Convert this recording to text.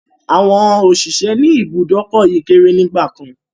Àwọn òṣìṣẹ́ ni ibùdókọ̀ yìí kéré nígbàkan.